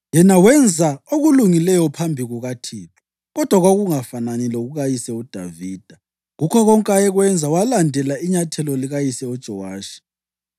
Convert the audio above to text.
Yena wenza okulungileyo phambi kukaThixo, kodwa kwakungafanani lokukayise uDavida. Kukho konke ayekwenza walandela inyathelo likayise uJowashi.